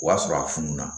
O y'a sɔrɔ a fununa